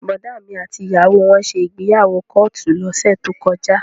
Bọ̀dá mi àti ìyàwó wọn ṣe ìgbéyàwó kóòtù lọ́sẹ̀ tó kọjá